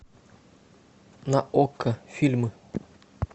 на окко фильмы